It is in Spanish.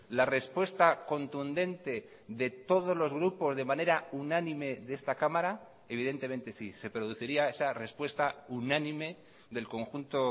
la respuesta contundente de todos los grupos de manera unánime de esta cámara evidentemente sí se produciría esa respuesta unánime del conjunto